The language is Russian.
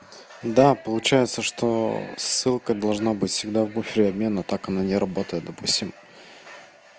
да получается что ссылка должна быть всегда в буфере обмена так оно не работает допустим